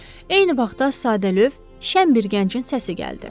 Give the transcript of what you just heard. Eyni vaxtda sadəlövh, şən bir gəncin səsi gəldi.